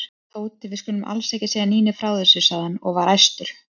Tóti, við skulum alls ekki segja Nínu frá þessu sagði hann og var æstur.